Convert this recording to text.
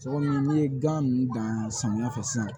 Tɔgɔ min n'i ye gan nunnu dan samiya fɛ sisan